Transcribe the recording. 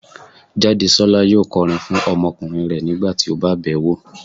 Jádesọ́lá yóò kọrin fún ọmọkùnrin rẹ̀ nígbà tí ó bá bẹ̀ẹ́ wo